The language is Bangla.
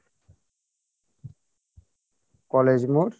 কলেজ মোড়